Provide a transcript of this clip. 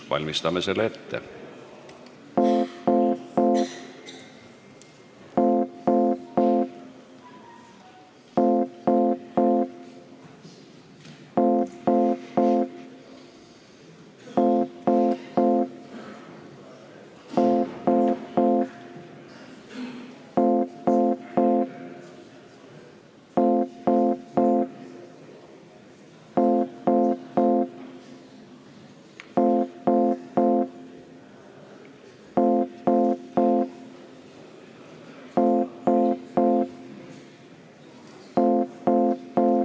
Valmistame selle ette.